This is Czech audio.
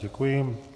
Děkuji.